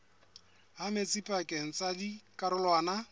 ha metsi pakeng tsa dikarolwana